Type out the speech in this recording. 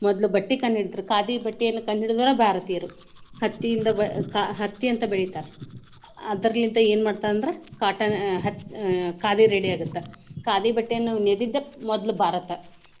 ಮೊದ್ಲು ಬಟ್ಟಿ ಕಂಡ ಹಿಡದ್ರು. ಖಾದಿ ಬಟ್ಟೆಯನ್ನ ಕಂಡ ಹಿಡಿದವರ ಭಾರತೀಯರು. ಹತ್ತಿಯಿಂದ ಬ~ ಹತ್ತಿಯಂತ ಬೆಳಿತಾರ. ಅದ್ರಲಿಂದ ಏನ ಮಾಡ್ತಾರ ಅಂದ್ರ cotton ಆಹ್ ಹ~ ಖಾದಿ ready ಆಗುತ್ತ. ಖಾದಿ ಬಟ್ಟೆಯನ್ನು ನೇದಿದ್ದ ಮೊದ್ಲು ಭಾರತ.